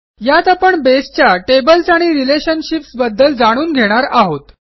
यातआपण बसे च्या टेबल्स आणि रिलेशनशिप्स बद्दल जाणून घेणार आहोत